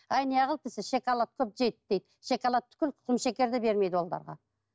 әй неғылды десе шоколадты жейді дейді шоколад түгілі құмшекер де бермейді оларға